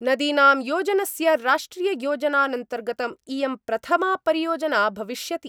नदीनां योजनस्य राष्ट्रिययोजनान्तर्गतम् इयं प्रथमा परियोजना भविष्यति।